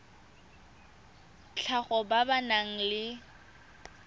tlhago ba ba nang le